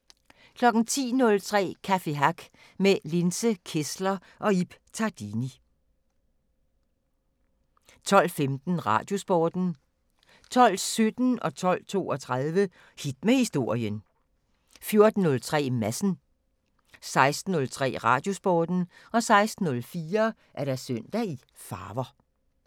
10:03: Café Hack med Linse Kessler og Ib Tardini 12:15: Radiosporten 12:17: Hit med Historien 12:32: Hit med Historien 14:03: Madsen 16:03: Radiosporten 16:04: Søndag i farver